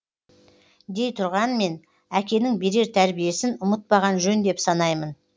дей тұрғанмен әкенің берер тәрбиесін ұмытпаған жөн деп санаймын